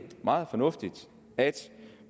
meget fornuftigt at